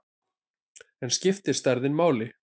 En skiptir stærðin máli?